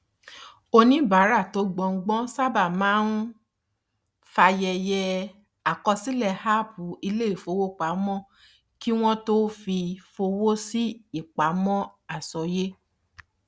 oníbàárà tí ó gbọgbọn sábà máa ń fàyẹyẹ àkọsílẹ app iléifowopamọ kí wọn tó fi fọwọ sí ipamọ àsọyé